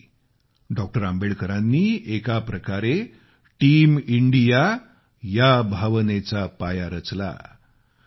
त्यावेळी डॉ आंबेडकरांनी एक प्रकारे टीम इंडिया या भावनेचा पाया रचला